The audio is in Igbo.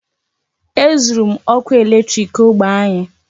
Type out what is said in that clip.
E zụrụ m ọkụ eletriki ógbè anyị.